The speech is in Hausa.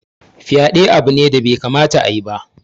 Fyaɗe abu ne da bai kamata a yi ba.